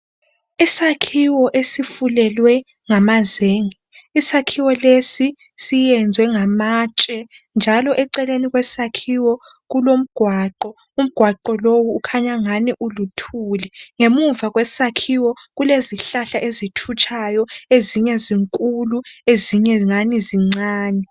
Isakhiwo esifulelwe ngamazenge isakhiwo lesi siyezwe ngamatshe njalo eceleni kwesakhiwo kulomgwaqo ongathi uluthili ngemva kwesakhiwo kulezihlahla ezithutshayo ezinkulu lezincane.